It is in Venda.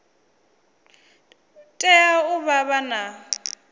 tea u vha vha na